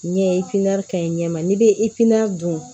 Ɲɛ ka ɲi ɲɛ ma n'i bɛ dun